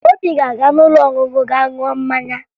Obi ga-aga n'ụlọ ọṅụṅụ gaa ṅụọ mmanya